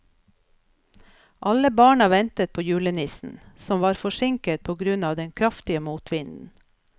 Alle barna ventet på julenissen, som var forsinket på grunn av den kraftige motvinden.